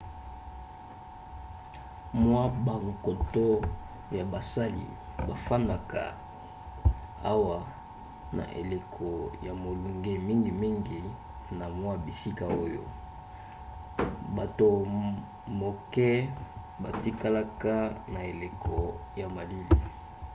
mwa bankoto ya basali bafandaka awa na eleko ya molunge mingimingi na mwa bisika oyo; bato moke batikalaka na eleko ya malili